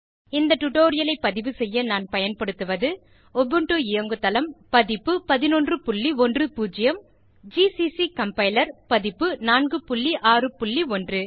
இந்த டுடோரியலை பதிவு செய்ய நான் பயன்படுத்துவது உபுண்டு இயங்குதளம் பதிப்பு 1110 ஜிசிசி கம்பைலர் பதிப்பு 461